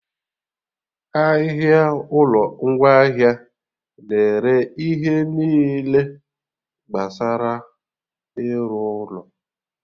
Ahịa ụlọ ngwaahịa na-ere ihe niile gbasara ịrụ ụlọ